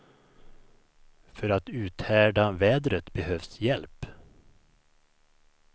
För att uthärda vädret behövs hjälp.